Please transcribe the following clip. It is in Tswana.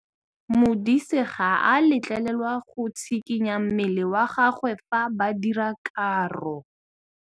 Modise ga a letlelelwa go tshikinya mmele wa gagwe fa ba dira karô.